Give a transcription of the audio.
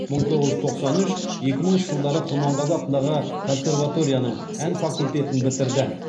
мың тоғыз жүз тоқсан үш екі мыңыншы жылдары құрманғазы атындағы консерваторияның ән факультетін бітірді